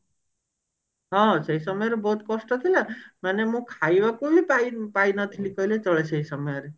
ହଁ ସେଇ ସମୟରେ ବହୁତ କଷ୍ଟ ଥିଲ ମାନେ ମୋ ଖାଇବା ପାଇଁ ପାଇନି ପାଇ ନଥିଲି କହିଲେ ଚଲେ ସେଇ ସମୟରେ